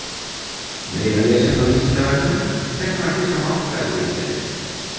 Meira lesefni á Vísindavefnum: Hvernig var fyrsta málfræðiritgerðin?